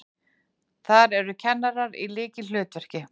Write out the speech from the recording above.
Þar eru kennarar í lykilhlutverki.